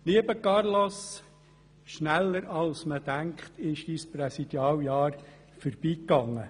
Lieber Carlos, schneller als man denkt ist dein Präsidialjahr verstrichen.